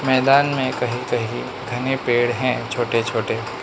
मैदान में कहीं कहीं घने पेड़ हैं छोटे छोटे।